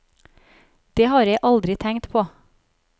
Det har jeg aldri tenkt på.